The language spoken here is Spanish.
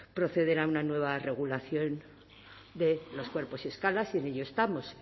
proceder a una nueva regulación de los cuerpos y escalas y en ello estamos